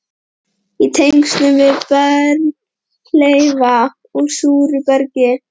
í tengslum við berghleifa úr súru bergi.